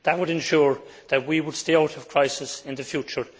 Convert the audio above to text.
That would ensure that we would stay out of crisis in the future.